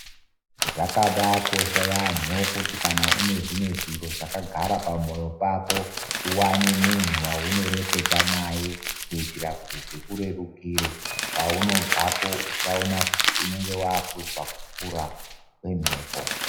Zvakabakosha yambo kuti kana une zvimwe zviro zvakagara pamoyo pako uwane munhu waunoreketa naye kuitira kuti zvikurerukire paunobvapo tinoona kuti unenge wakunzwa kupfura kwemhepo.